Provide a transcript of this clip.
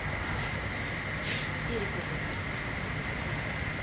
серикову